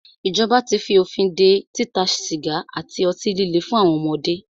Ìjọba tí fí òfin dé títa sìgá àti ọtí líle fún àwọn ọmọdé.